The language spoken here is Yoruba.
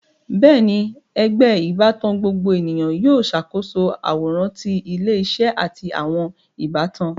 Bẹẹni, ẹgbẹ ìbátan gbogbo ènìyàn yóò ṣàkóso àwòrán ti ilé-isé àti àwọn ìbátan